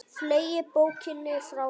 Fleygi bókinni frá mér.